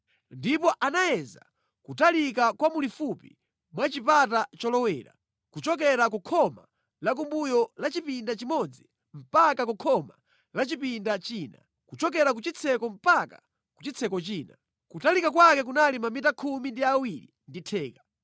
Ndipo anayeza kutalika kwa mulifupi mwa chipata cholowera, kuchokera ku khoma lakumbuyo la chipinda chimodzi mpaka ku khoma la chipinda china; kuchokera ku chitseko mpaka ku chitseko china. Kutalika kwake kunali mamita khumi ndi awiri ndi theka.